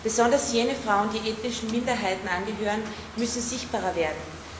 Besonders jene Frauen, die ethnischen Minderheiten angehören, müssen sichtbarer werden.